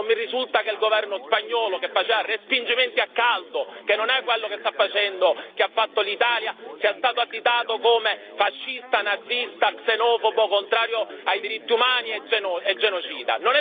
E non mi risulta che il governo spagnolo, che faceva respingimenti a caldo, che non è quello che ha fatto l'Italia, sia stato additato come fascista, nazista, xenofobo, contrario ai diritti umani e genocida!